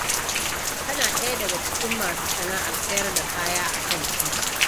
Kana ɗaya daga cikin masu sana'ar sayar da kaya a kan titi?